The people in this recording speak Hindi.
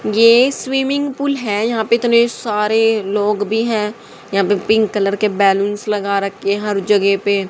ये स्विमिंग पूल है। यहां पे इतने सारे लोग भी हैं। यहा पे पिंक कलर के बैलून्स लगा रखे हर जगह पे।